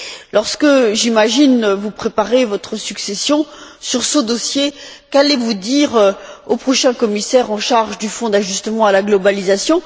Lorsque, j'imagine, vous préparerez votre succession sur ce dossier, que direz vous au prochain commissaire en charge du Fonds d'ajustement à la mondialisation?